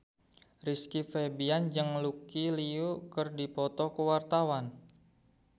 Rizky Febian jeung Lucy Liu keur dipoto ku wartawan